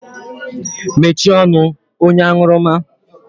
Mechie ọnụ! Onye anwurumma